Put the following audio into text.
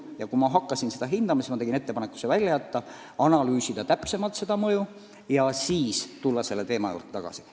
Ja kui ma olin seda hinnanud, siis tegin ettepaneku see välja jätta, analüüsida seda mõju täpsemalt ja siis tulla teema juurde tagasi.